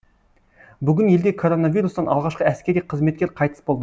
бүгін елде коронавирустан алғашқы әскери қызметкер қайтыс болды